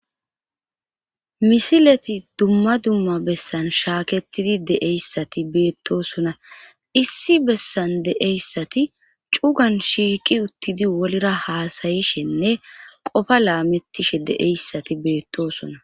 Misileti dumma dumma bessan shaaketidi deeyssati beettosona issi bessan deeyssati cugan shiiqi uttidi wolra haasayishenne qofa laamettishe deeyssati beettosona.